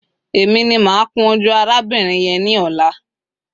E mi ni ma kun oju arabirin yen ni ola